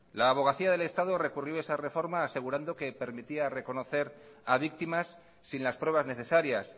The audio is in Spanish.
la abogacía del estado recurrió esa reforma asegurando que permitía reconocer a víctimas sin las pruebas necesarias